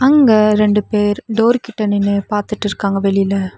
இங்க ரெண்டு பேர் டோர் கிட்ட நின்னு பாத்துட்டு இருக்காங்க வெளில.